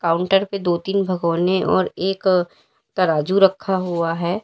Counter पे दो तीन भागोंने और एक तराजू रखा हुआ हैं।